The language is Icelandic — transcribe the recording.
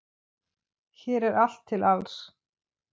Hér er allt til alls.